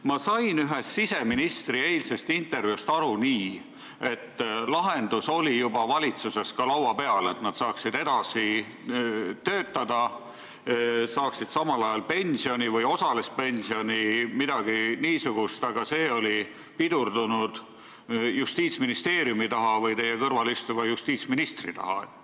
Ma sain siseministri ühest eilsest intervjuust aru nii, et lahendus oli juba valitsuses laua peal, et politseinikud saaksid edasi töötada, saades samal ajal pensioni või osalist pensioni, midagi niisugust, aga see on jäänud Justiitsministeeriumi või teie kõrval istuva justiitsministri taha.